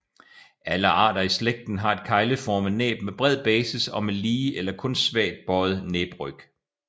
Alle arter i slægten har et kegleformet næb med bred basis og med lige eller kun svagt bøjet næbryg